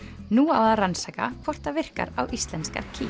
nú á að rannsaka hvort það virkar á íslenskar kýr